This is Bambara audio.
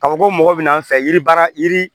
Ka fɔ ko mɔgɔ bina fɛ yiribara yiri